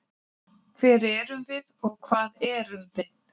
Hver erum við og hvað erum við?